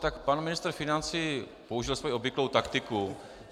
Tak pan ministr financí použil svoji obvyklou taktiku.